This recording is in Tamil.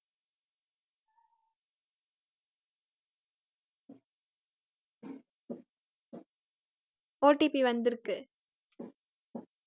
OTP வந்திருக்கு